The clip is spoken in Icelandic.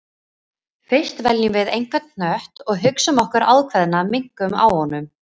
Fyrst veljum við einhvern hnött og hugsum okkur ákveðna minnkun á honum.